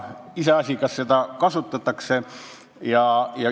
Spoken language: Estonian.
Iseasi, kas seda kasutatakse.